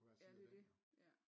Ja det er jo det ja